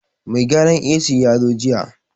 Mai gyaran AC ya zo jiya